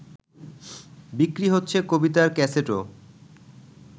বিক্রি হচ্ছে কবিতার ক্যাসেটও